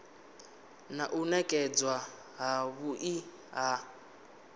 na u nekedzwa havhui ha